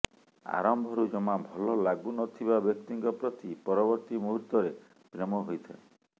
ଆରମ୍ଭରୁ ଜମା ଭଲ ଲାଗୁନଥିବା ବ୍ୟକ୍ତିଙ୍କ ପ୍ରତି ପରବର୍ତ୍ତୀ ମୁହୂର୍ତ୍ତରେ ପ୍ରେମ ହୋଇଥାଏ